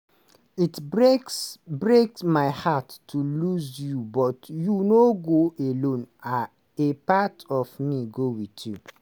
it break break my heart to lose you but you no go alone a part of me go wit you.